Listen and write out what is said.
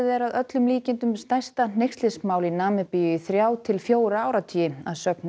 er að öllum líkindum stærsta hneykslismál í Namibíu í þrjá til fjóra áratugi að sögn